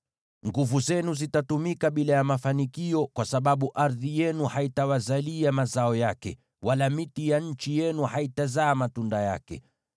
Nguvu zenu zitatumika bila ya mafanikio, kwa sababu ardhi yenu haitawazalia mazao yake, wala miti ya nchi yenu haitazaa matunda yake.